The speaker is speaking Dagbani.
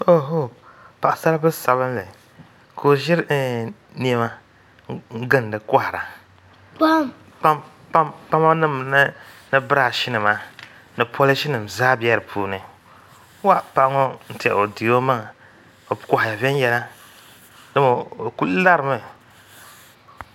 Paɣasaribili sabinli ka o ʒiri niɛma n gindi kohara kpama nim ni birash nima ni polish nim zaa bɛ di puuni paɣa ŋo n tiɛha o di o maŋa o kohaya viɛnyɛla o ku larimi